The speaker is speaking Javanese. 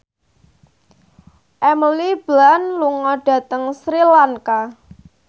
Emily Blunt lunga dhateng Sri Lanka